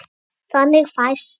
Þannig fæst